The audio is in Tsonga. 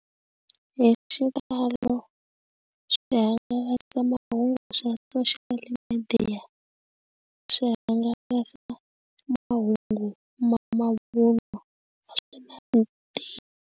Hi xitalo swihangalasamahungu swa social media swi hangalasa mahungu mavunwa.